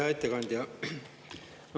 Hea ettekandja!